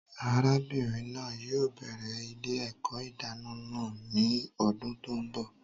Arábìnrin náà yóò bẹrẹ ilé-èkó ìdáná náà ní ọdún tó n bọ